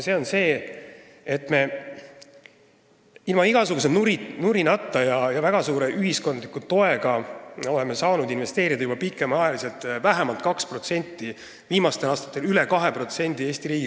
See on see, et me oleme ilma igasuguse nurinata ja väga suure ühiskondliku toega saanud juba pikemat aega investeerida Eesti riigi kaitsesse vähemalt 2%, viimastel aastatel üle 2%.